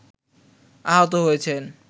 আহত হয়েছেন